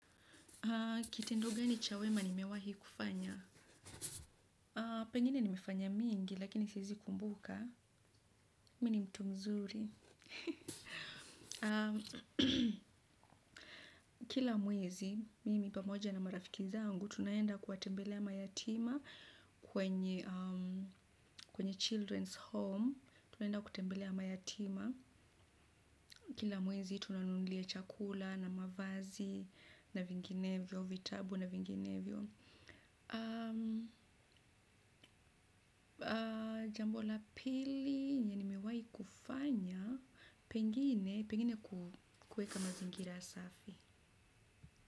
Kitendo gani chawema nimewahi kufanya? Pengine nimefanya mingi, lakini siezi kumbuka, mini mtu mzuri. Kila mwezi mimi pamoja na marafiki zangu tunaenda kuwatembelea mayatima kwenye kwenye Children's Home. Tunaenda kutembelea mayatima. Kila mwezi, tuna nunulia chakula na mavazi na vinginevyo, vitabu na vinginevyo. Jambo la pili nini mewai kufanya. Pengine kueka mazingira safi.